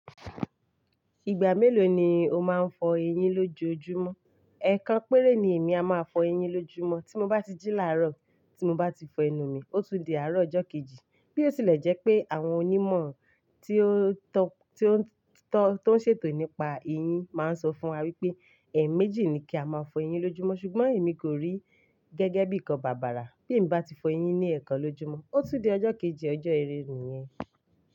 Ìgbà mélòó ni o máa ń fọ eyín lójojúmọ́? Ẹ̀ẹ̀kan péré ni èmi a máa fọ eyín lójojúmọ́. Tí mo bá ti jí láàárọ̀, tí mo bá ti fọ ẹnu mi, ó tún di àárọ̀ ọjọ́ kejì. Bí ó tilẹ̀ jẹ́ pé àwọn onímọ̀ tí ó ń ṣètò nípa eyín máa ń sọ fún wa wípé ẹ̀ẹ̀méjì ni kí a máa fọ eyín lójojúmọ́ ṣùgbọ́n èmi kò rí gẹ́gẹ́ bíi ǹkan bàbàrà. Bí mo bá ti fọ eyín ní ẹ̀ẹ̀kan lójojúmọ́, ó tún di ọjọ́ kejì, ọjọ́ ìrẹ́ ní yẹn.